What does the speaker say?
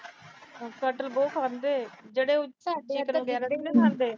ਕਟਹਲ ਬਹੁਤ ਖਾਂਦੇ। ਜਿਹੜੇ ਸਾਡੇ